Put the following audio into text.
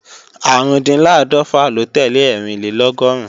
Árùndinláàdọ́fà ló tẹ́lẹ̀ Ẹ́rìnlélọ́gọ́rùn